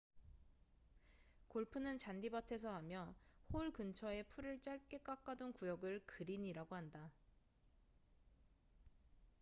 골프는 잔디밭에서 하며 홀 근처에 풀을 짧게 깎아둔 구역을 그린이라고 한다